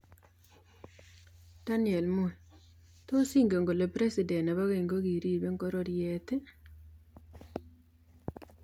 Daniel Moi:Tos ingen kole presdent nebo ngeny ko kiribe ngororiet?